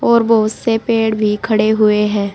और बहुत से पेड़ भी खड़े हुए हैं।